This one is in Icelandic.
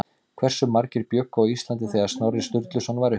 Hversu margir bjuggu á Íslandi þegar Snorri Sturluson var uppi?